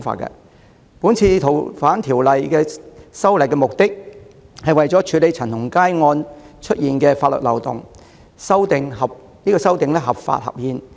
這次修訂《逃犯條例》旨在處理陳同佳案暴露的法律漏洞，相關修訂建議合法合憲。